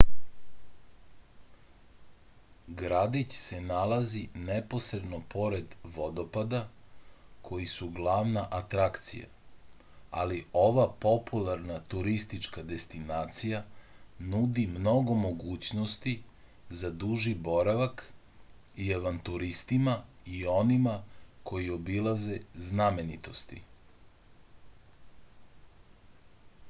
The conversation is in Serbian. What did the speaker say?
gradić se nalazi neposredno pored vodopada koji su glavna atrakcija ali ova popularna turistička destinacija nudi mnogo mogućnosti za duži boravak i avanturistima i onima koji obilaze znamenitosti